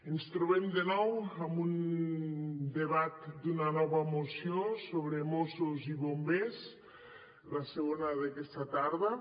ens trobem de nou amb un debat d’una nova moció sobre mossos i bombers la segona d’aquesta tarda